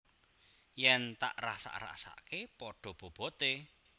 Yen tak rasak rasakke pada bobote